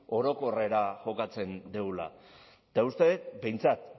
orokorrera jokatzen dugula eta uste dut behintzat